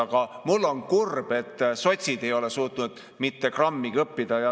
Aga mul on kurb, et sotsid ei ole suutnud mitte grammigi õppida.